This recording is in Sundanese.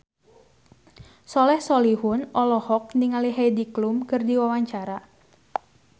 Soleh Solihun olohok ningali Heidi Klum keur diwawancara